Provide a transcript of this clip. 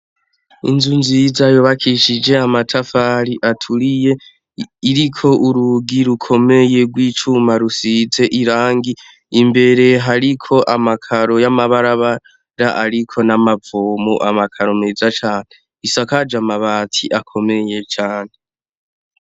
inzu nziza yubakishije amatafari aturiye iriko urugi rukomeye rw'icuma rusize irangi imbere hariko amakaro y'amabarabara ariko n'amavomu amakaro meza cane isakaje amabati akomeye cane